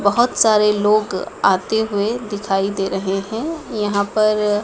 बहोत सारे लोग आते हुए दिखाई दे रहे हैं यहां पर--